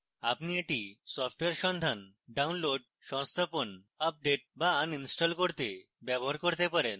আপনি এটি সফটওয়্যার সন্ধান download সংস্থাপন আপডেট বা install করতে ব্যবহার করতে পারেন